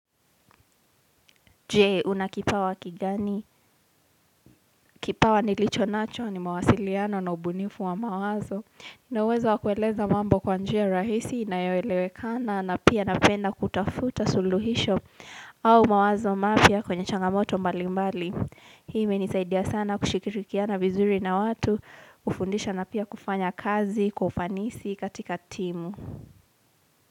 Jee, una kipawa kigani? Kipawa nilichonacho ni mawasiliano na ubunifu wa mawazo. Na uwezo wa kueleza mambo kwa njia rahisi inayoelewekana na pia napenda kutafuta suluhisho au mawazo mapya kwenye changamoto mbalimbali. Hii imenisaidia sana kushikirikiana vizuri na watu, kufundisha na pia kufanya kazi, kwa ufanisi katika timu.